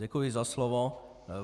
Děkuji za slovo.